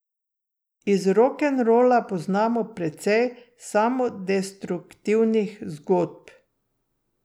Iz rokenrola poznamo precej samodestruktivnih zgodb.